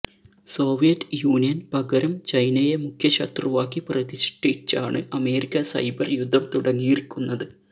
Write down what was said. Soviet യൂനിയന് പകരം ചൈനയെ മുഖ്യശത്രുവാക്കി പ്രതിഷ്ഠിച്ചാണ് അമേരിക്ക സൈബര് യുദ്ധം തുടങ്ങിയിരിക്കുന്നത്